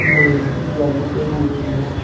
लोहे की जाली पड़ी हुई है।